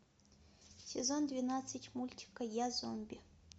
сезон двенадцать мультика я зомби